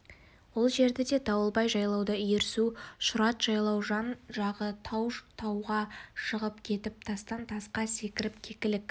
ол жерді де дауылбай жайлайды иірсу шұрат жайлау жан-жағы тау тауға шығып кетіп тастан-тасқа секіріп кекілік